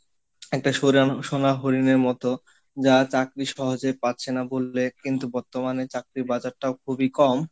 একটা সরাণ সোনা হরিণের মতো যা চাকরি সহজেই পাচ্ছে না বললে কিন্তু বর্তমানে চাকরির বাজারটাও খুবই কম,